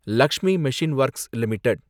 Lakshmi machine works limited